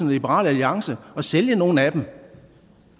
liberal alliance og sælge nogle af dem